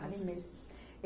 Ali mesmo.